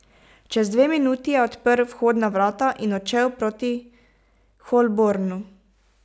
Čez dve minuti je odprl vhodna vrata in odšel proti Holbornu.